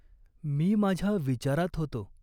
"मी माझ्या विचारात होतो.